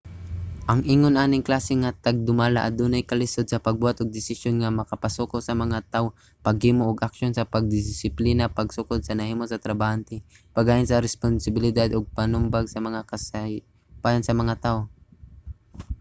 ang ingon aning klase nga tagdumala adunay kalisod sa pagbuhat og desisyon nga makapasuko sa mga tawo paghimo og aksyon sa pangdisiplina pagsukod sa nahimo sa trabahante paggahin sa responsibilidad ug pagpanubag sa mga kasaypanan sa mga tawo